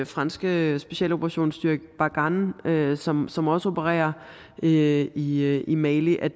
franske specialoperationsstyrke barkhane som som også opererer i i mali og